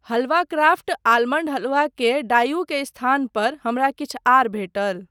हलवा craft almond halwa के डाईऊ के स्थान पर हमरा किछु आर भेटल।